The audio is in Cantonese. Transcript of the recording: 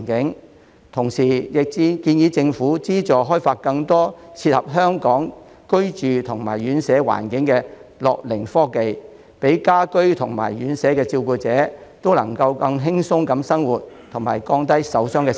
我同時建議政府資助開發更多切合香港的居住及院舍環境的樂齡科技，讓家居及院舍的照顧者能更輕鬆地生活及減低受傷的機會。